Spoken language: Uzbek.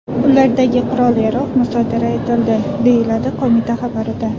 Ulardagi qurol-yarog‘ musodara etildi”, deyiladi qo‘mita xabarida.